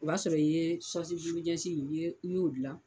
O b'a sɔrɔ i ye juru ɲɛsinw , i y'o gilan .